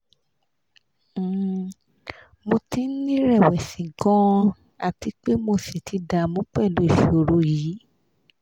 um mo ti n ni rẹ̀wẹ̀sì gan-an ati pe mo sì ti damu pelu ìṣòro yìí